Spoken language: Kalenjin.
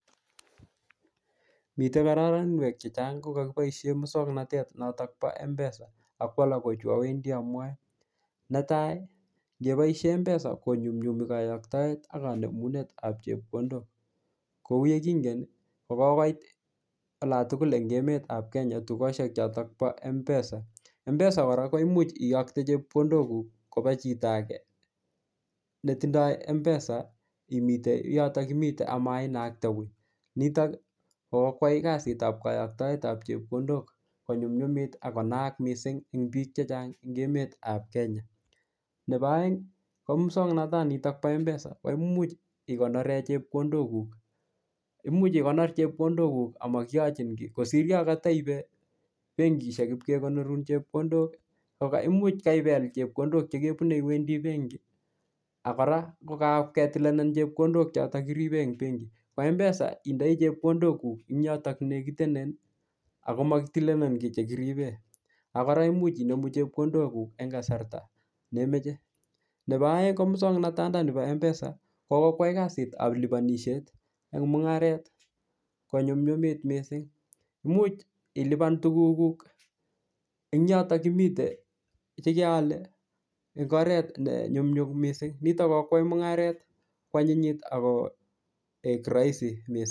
Mitei korotwek chechang' kukakiboishe muswong'natet notok bo mpesa ako alak ko chu awendi amwoe netai ngeboishe mpesa konyumyumi kayoktoet ak kanemunetab chepkondok kou ye kingen kokokoit olo tugul eng' emetab Kenya tukoshek chotok bo mpesa mpesa kora koimuuch iyokte chepkondok koba chito age netindoi mpesa imetei yotok imite amainakte wii nitok kokokwai kasitab kayoktoet ab chepkondok konyumyumit akonaak mising' eng' biik chechang' eng' emetab Kenya nebo oeng' ko muswong'nata nitok bo mpesa ko imuuch ikonore chepkondok kuuk imuch ikonor chepkondokuk amakiyochi kii kosir yo kataiibe benkishek pikekonorun chepkondok ko koimuuch kaipel chepkondok chekebube iwendi benki ak kora kukaketilenen chepkondok chotok kiribe eng' benki kora mpesa indoi chepkondokuk eng' yotok lekitenen ako makitilenen kii nekiribe ak kora koimuch inomu chepkondokuk eng' kasarta nemeche nebo oeng' ko muswong'nata ndani bo mpesa kokwai kasitab lipanishet eng' mung'aret konyumnyumit mising muuch ilipan tukukuk eng' yotok imite chekeale eng' oret nenyumnyum mising nito kokwai mung'aret continuity akoek rahisi mising'